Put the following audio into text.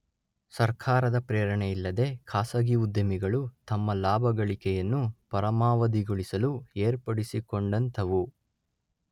ಸರ್ಕಾರದ ಪ್ರೇರಣೆ ಇಲ್ಲದೆ ಖಾಸಗಿ ಉದ್ಯಮಿಗಳು ತಮ್ಮ ಲಾಭಗಳಿಕೆಯನ್ನು ಪರಮಾವಧಿಗೊಳಿಸಲು ಏರ್ಪಡಿಸಿಕೊಂಡಂಥವು.